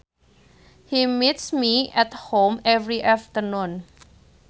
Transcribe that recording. He meets me at home every afternoon